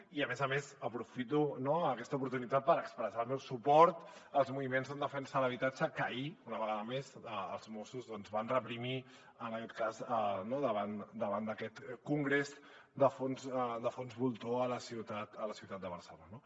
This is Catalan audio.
i a més a més aprofito aquesta oportunitat per expressar el meu suport als moviments en defensa de l’habitatge que ahir una vegada més els mossos van reprimir en aquest cas davant d’aquest congrés de fons voltor a la ciutat de barcelona